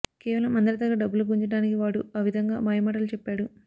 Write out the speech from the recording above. కేవలం అందరి దగ్గర డబ్బులు గుంజడానికి వాడు ఆ విధంగా మాయమాటలు చెప్పాడు